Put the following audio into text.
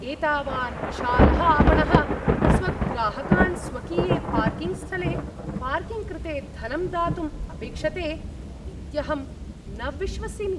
एतावान् विशालः आपणः स्वग्राहकान् स्वकीये पार्किङ्ग् स्थले पार्किङ्ग् कृते धनं दातुम् अपेक्षते इत्यहं न विश्वसिमि।